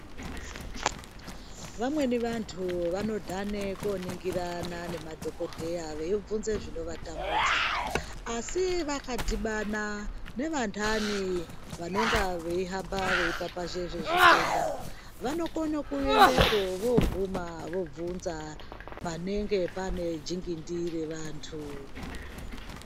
Vamweni vantu vanodhane koningirana nemadhokodheya veibvunze zvinovatambudza asi vakadhibana nevantani vanonga veihamba vepapazha zvezitenda vanokone kuendepo voguma vobvunza panenge pane jingindi revantu .